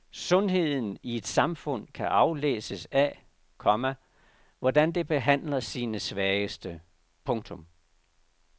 Sundheden i et samfund kan aflæses af, komma hvordan det behandler sine svageste. punktum